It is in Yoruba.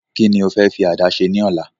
Ki ni o fẹ́ fi àdá se ní ọ̀la?